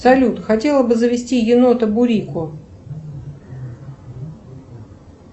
салют хотела бы завести енота бурико